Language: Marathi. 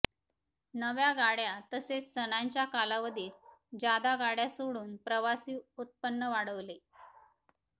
नव्या गाडया तसेच सणांच्या कालावधीत जादा गाडया सोडून प्रवासी उत्पन्न वाढवले